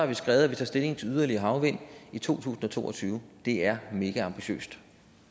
vi skrevet at vi tager stilling til yderligere havvind i to tusind og to og tyve det er megaambitiøst